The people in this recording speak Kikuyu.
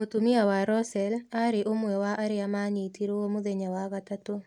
Mũtumia wa Rosell aarĩ ũmwe wa arĩa maanyitirũo mũthenya wa gatatũ.